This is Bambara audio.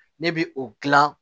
Ne bi o gilan